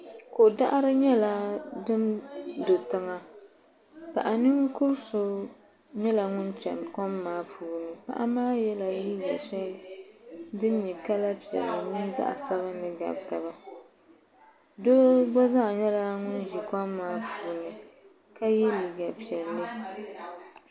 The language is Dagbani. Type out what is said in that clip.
Ko daɣiri nyɛla din do tiŋa paɣa ninkura so nyɛla ŋun chani kɔm maa puuni paɣa maa yɛla liiga shɛli din nyɛ kala piɛlli mini zaɣa sabinli gabi taba doo gba zaa nyɛla ŋun ʒi kɔm maa puuni ka yɛ liiga piɛlli.